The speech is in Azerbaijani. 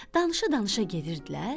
Danışa-danışa gedirdilər.